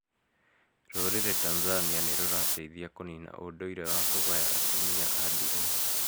Rũrĩrĩ Tanzania nĩrũrateĩthĩa kũnĩna ũndũire wa kũgaya atumia a ndĩgwa?